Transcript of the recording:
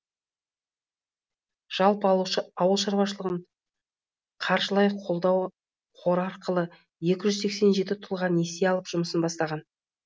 жалпы ауыл шаруашылығын қаржылай қолдау қоры арқылы екі жүз сексен жеті тұлға несие алып жұмысын бастаған